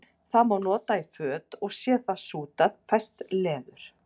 það má nota í föt og sé það sútað fæst leður